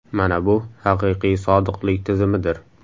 Mana bu haqiqiy sodiqlik tizimidir.